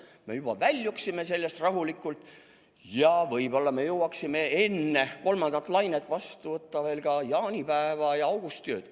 Me väljuksime sellest rahulikult ja võib-olla jõuaksime enne kolmandat lainet tähistada ka jaanipäeva ja augustiööd.